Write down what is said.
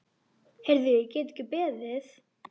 Heyrðu, ég get ekki beðið.